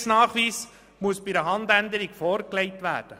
Der Sicherheitsnachweis muss bei einer Handänderung vorgelegt werden.